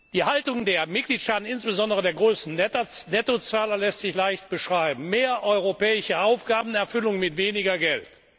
Die Haltung der Mitgliedstaaten, insbesondere der großen Nettozahler, lässt sich leicht beschreiben Mehr europäische Aufgabenerfüllung mit weniger Geld!